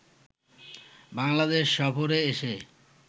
বাংলাদেশ সফরে এসে